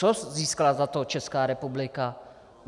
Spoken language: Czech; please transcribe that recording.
Co získala za to Česká republika?